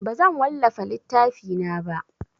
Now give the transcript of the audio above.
Bazan wallafa littafina ba.